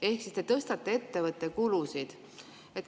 Ehk siis te tõstate ettevõtte kulusid.